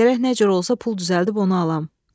Gərək nə cür olsa pul düzəldib onu alam.